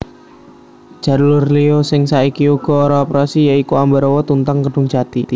Jalur liya sing saiki uga ora operasi ya iku Ambarawa Tuntang Kedungjati